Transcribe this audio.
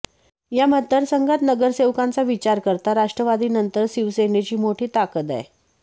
या मतदारसंघात नगरसेवकांचा विचार करता राष्ट्रवादीनंतर शिवसेनेची मोठी ताकद आहे